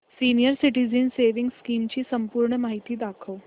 senior citizens savings scheme ची संपूर्ण माहिती दाखव